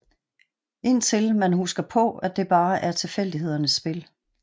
Indtil man husker på at det bare er tilfældighedernes spil